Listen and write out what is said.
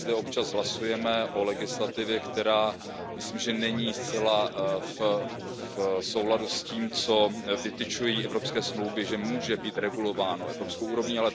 My zde občas hlasujeme o legislativě, která, myslím, není zcela v souladu s tím, co vytyčují evropské smlouvy, že může být regulováno evropskou úrovní.